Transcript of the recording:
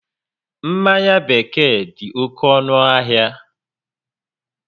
Mmanya bekee dị oké ọnụ ahịa